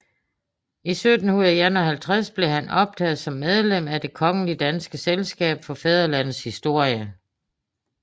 I 1751 blev han optaget som medlem af Det kongelige danske Selskab for Fædrelandets Historie